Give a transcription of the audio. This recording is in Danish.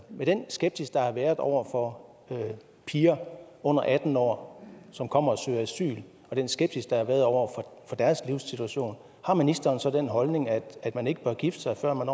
den skepsis der har været over for piger under atten år som kommer og søger asyl og den skepsis der har været over for deres livssituation har ministeren så den holdning at at man ikke bør gifte sig før man